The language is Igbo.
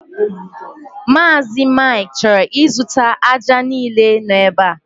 Mazị Mike chọrọ ịzụta ájá niile no ebe a